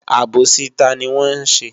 Àbòsí tani wọn ṣe?